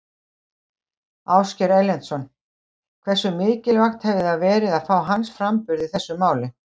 Ásgeir Erlendsson: Hversu mikilvægt hefði það verið að fá hans framburð í þessu máli?